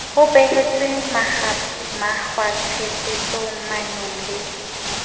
ho behetswe mekgwatshebetsong maanong le